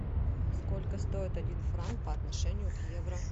сколько стоит один франк по отношению к евро